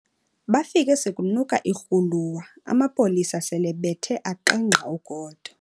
Bafike sekunuka irhuluwa amapolisa selebethe aqengqa ugodo.